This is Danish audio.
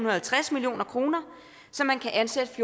og halvtreds million kr så man kan ansætte